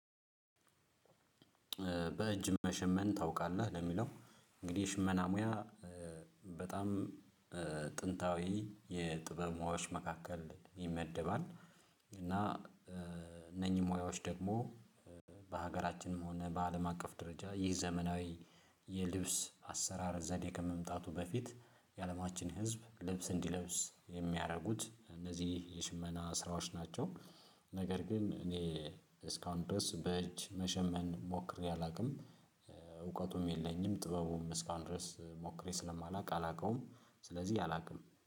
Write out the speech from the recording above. በእጅ መሸመን ታውቃለህ ለሚለው እንግዲህ የሽመና ሙያ በጣም ጥንታዊ የጥበብ ሙያዎች መካከል ይመደባል። እና እነኚህ ሙያዎች ደግሞ በሀገራችንም ሆነ በአለም አቀፍ ደረጃ ይህ ዘመናዊ የልብስ አሰራር ዘዴ ከመምጣቱ በፊት የአለማችን ህዝብ ልብስ እንዲለብስ የሚያደርጉት እነዚህ የሽመና ስራዎች ናቸው። ነገር ግን እኔ እስካሁን ድረስ በእጅ መሸመን ሞክሬ አላውቅም እውቀቱም የለኝም። ጥበቡም እስካሁን ድረስ ሞክሬ ስለማላውቅ አላውቀውም ስለዚህ አላውቅም